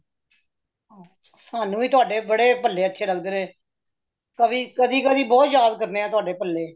ਸਾਨੂ ਵੀ ਤੁਹਾਡੇ ਬੜੇ, ਬੱਲੇ ਅੱਛੇ ਲੱਗਦੇ ਨੇ , ਕਦੀ-ਕਦੀ ਬਹੁਤ ਯਾਦ ਕਰਦੇ ਹਾ ਤੁਹਾਡੇ ਬੱਲੇ।